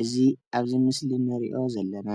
እዚ ኣብዚ ምስሊ ንሪኦ ዘለና